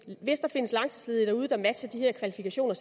hvis der findes langtidsledige derude der matcher de her kvalifikationer